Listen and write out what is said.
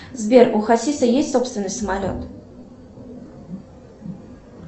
сбер у хасиса есть собственный самолет